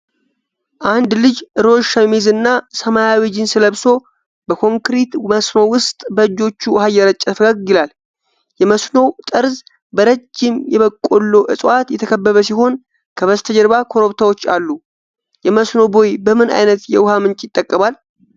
አንድ ልጅ ሮዝ ሸሚዝ እና ሰማያዊ ጂንስ ለብሶ፣ በኮንክሪት መስኖ ውስጥ በእጆቹ ውኃ እየረጨ ፈገግ ይላል። የመስኖው ጠርዝ በረጅም የበቆሎ እፅዋት የተከበበ ሲሆን ከበስተጀርባ ኮረብታዎች አሉ። የመስኖ ቦይ በምን አይነት የውኃ ምንጭ ይጠቀማል?